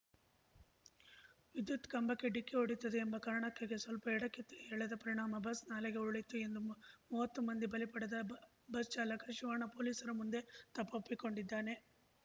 ವಿದ್ಯುತ್‌ ಕಂಬಕ್ಕೆ ಡಿಕ್ಕಿ ಹೊಡೆಯುತ್ತದೆ ಎಂಬ ಕಾರಣಕ್ಕೆಗೆ ಸ್ವಲ್ಪ ಎಡಕ್ಕೆ ಎಳೆದ ಪರಿಣಾಮ ಬಸ್‌ ನಾಲೆಗೆ ಉರುಳಿತು ಎಂದು ಮು ಮುವ್ವತ್ತು ಮಂದಿಯ ಬಲಿ ಪಡೆದ ಬ ಬಸ್‌ ಚಾಲಕ ಶಿವಣ್ಣ ಪೊಲೀಸರ ಮುಂದೆ ತಪ್ಪೊಪ್ಪಿಕೊಂಡಿದ್ದಾನೆ